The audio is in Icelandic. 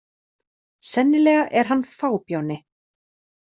Sennilega er hann fábjáni.